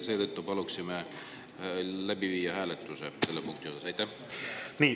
Seetõttu paluksime selle punkti juures hääletust.